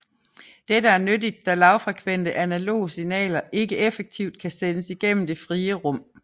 Dette er nyttigt da lavfrekvente analoge signaler ikke effektivt kan sendes igennem det frie rum